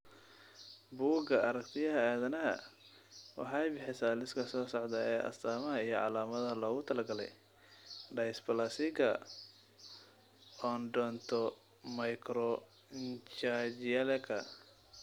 Bugga Aaragtiyaha Aadanaha waxay bixisaa liiska soo socda ee astamaha iyo calaamadaha loogu talagalay dysplasiga Odontomicronychialka.